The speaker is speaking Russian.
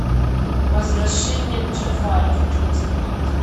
возвращение джафара хочу посмотреть